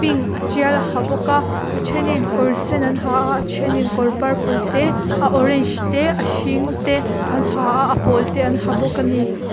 pink a tial a ha bawka a thenin kawr sen an ha a a thenin kawr purple te a orange te a hring te an ha a a pawl te an ha bawka ani.